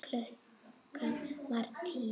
Klukkan var tíu.